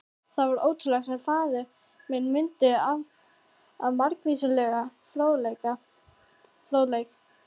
Það var ótrúlegt, sem faðir minn mundi af margvíslegum fróðleik.